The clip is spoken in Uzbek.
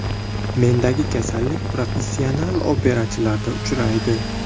Mendagi kasallik professional operachilarda uchraydi.